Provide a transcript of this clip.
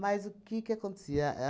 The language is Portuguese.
o que que acontecia?